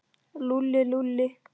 Lúlli, Lúlli.